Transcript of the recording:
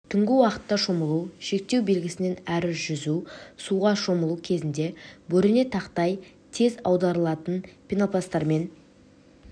түнгі уақытта шомылу шектеу белгісінен әрі жүзу суға шомылу кезінде бөрене тақтай тез аударылатын пенопласттармен